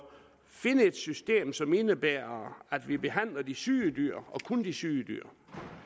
findes et system som indebærer at vi behandler de syge dyr og kun de syge dyr